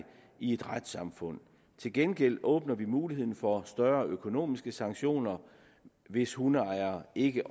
i et retssamfund til gengæld åbner vi for muligheden for større økonomiske sanktioner hvis hundeejere ikke